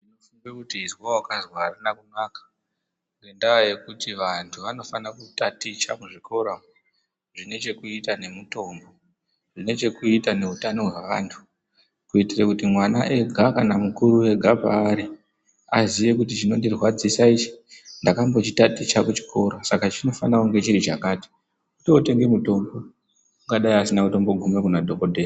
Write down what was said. Izwi rekuti ezwa wakazwa arina kunaka ngendaa yekuti antu anofana kutaticha muzvikora umo zvine chekuita ngemitambo nechekuita nehutano wevantu kuitire kuti mwana Ari ega kana mukuru ega paari aziye kuti chinondirwadzwisa ichi ndakambochitaticha kuchikora saka chinofanire kunge chiri chinhu chakati utootenge mutombo ungadai asina kusvika Kuna dhokodheya.